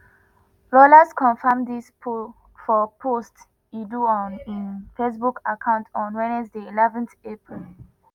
rollas confam dis for post e do on im facebook account on wednesday eleven april.